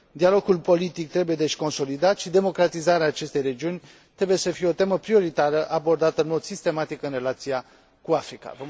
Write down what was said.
Dialogul politic trebuie, deci, consolidat și democratizarea acestei regiuni trebuie să fie o temă prioritară, abordată în mod sistematic în relația cu Africa.